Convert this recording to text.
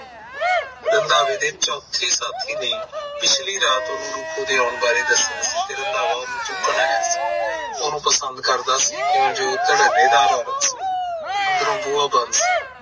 ਰੰਧਾਵੇ ਦੇ ਚੌਥੇ ਸਾਥੀ ਨੇ ਪਿਛਲ਼ੀ ਰਾਤ ਉਹਨੂੰ ਰੂਪੋ ਦੇ ਆਉਣ ਬਾਰੇ ਦੱਸਿਆ ਸੀ ਫਿਰ ਰੰਧਾਵਾ ਉਹਨੂੰ ਚੁੱਕਣ ਆਇਆ ਉਹਨੂੰ ਪਸੰਦ ਕਰਦਾ ਸੀ ਕਿਉਂ ਜੋ ਉਹ ਧੜੱਲੇਦਾਰ ਔਰਤ ਸੀ ਅੰਦਰੋਂ ਬੂਹਾ ਬੰਦ ਸੀ